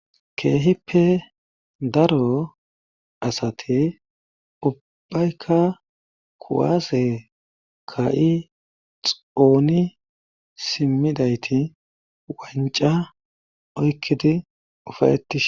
keehippe daro asate ubbayka kuwaase ka7i xooni simmidayti wanca oykkidi ufayeti